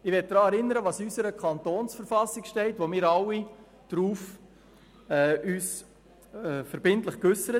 Ich möchte daran erinnern, was in unserer Verfassung des Kantons Bern (KV) steht.